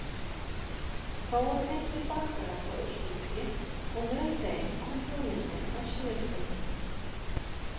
Þá voru fengnir bakarar frá Austurríki og með þeim kom hugmyndin að smjördeigi.